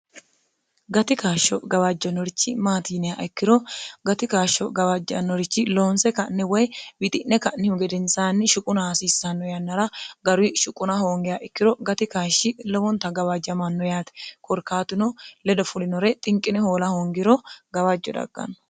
gati kaashsho gawaajjanorichi maatiinia ikkiro gati kaashsho gawaajjannorichi loonse ka'ne woy wixi'ne ka'nihu gedensaanni shuquna haasiissanno yannara garu shuquna hoongeha ikkiro gati kaashshi lowonta gawaajjamanno yaate korkaatino ledo fulinore xinqine hoola hoongiro gawaajjo dagganno